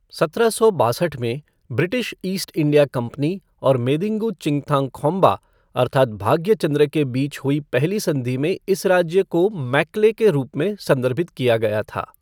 सत्रह सौ बासठ में ब्रिटिश ईस्ट इंडिया कंपनी और मेदिंगु चिंगथांगखोम्बा अर्थात् भाग्यचंद्र के बीच हुई पहली संधि में इस राज्य को मेक्ले के रूप में संदर्भित किया गया था।